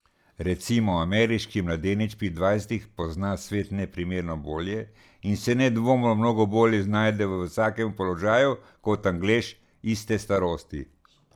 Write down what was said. Recimo, ameriški mladenič pri dvajsetih pozna svet neprimerno bolje in se nedvomno mnogo bolje znajde v vsakem položaju kot Anglež iste starosti.